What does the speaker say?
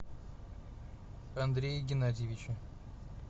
андрее геннадьевиче